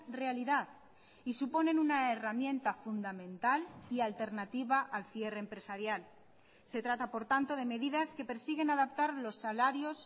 realidad y suponen una herramienta fundamental y alternativa al cierre empresarial se trata por tanto de medidas que persiguen adaptar los salarios